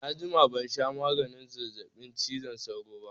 Na jima ban sha maganin zazzaɓin cizon sauro ba